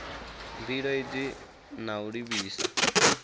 mbilo idzi na u livhisa